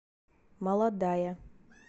молодая